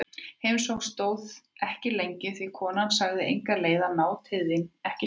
Heimsóknin stóð ekki lengi því konan sagði enga leið að ná til þín, ekki strax.